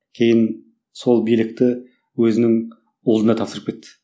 кейін сол билікті өзінің ұлына тапсырып кетті